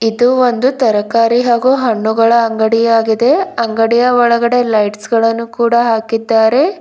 ಇದು ಒಂದು ತರಕಾರಿ ಹಾಗು ಹಣ್ಣುಗಳ ಅಂಗಡಿ ಆಗಿದೆ ಅಂಗಡಿಯ ಒಳಗೆದೆ ಲೈಟ್ಸ್ ಗಳನ್ನು ಕೂಡ ಹಾಕಿದ್ದಾರೆ.